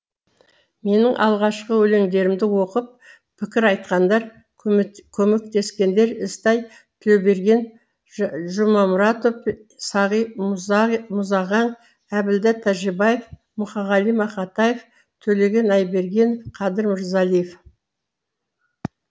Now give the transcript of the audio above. менің алғашқы өлеңдерімді оқып пікір айтқандар көмектескендер ізтай тілеуберген жұмамұратов сағи мұзағаң әбділда тәжібаев мұқағали мақатаев төлеген айбергенов қадыр мырзалиев